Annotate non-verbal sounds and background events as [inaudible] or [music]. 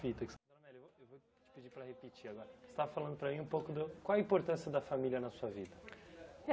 Fita que [unintelligible] repetir agora você estava falando para mim um pouco do... Qual a importância da família na sua vida?